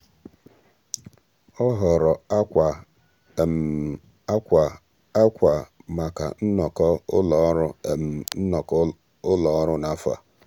ọ́ họ̀ọ̀rọ̀ ákwà ákwà ákwà màkà nnọ́kọ́ ụ́lọ́ ọ́rụ́ nnọ́kọ́ ụ́lọ́ ọ́rụ́ n’áfọ́ a.